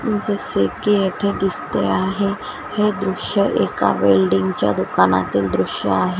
जसं की येथे दिसते आहे हे दृश्य एका वेल्डिंग च्या दुकानातील दृश्य आहे.